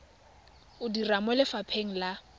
o dira mo lefapheng la